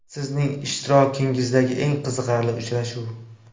Sizning ishtirokingizdagi eng qiziqarli uchrashuv?